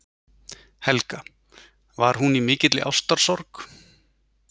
Helga: Var hún í mikilli ástarsorg?